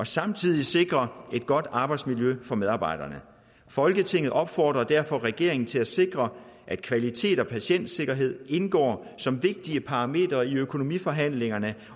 samtidig sikrer et godt arbejdsmiljø for medarbejderne folketinget opfordrer derfor regeringen til at sikre at kvalitet og patientsikkerhed indgår som vigtige parametre i økonomiforhandlingerne